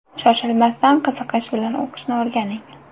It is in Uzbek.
Shoshilmasdan, qiziqish bilan o‘qishni o‘rganing.